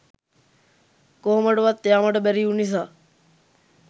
කොහොමටවත් යාමට බැරිවූ නිසා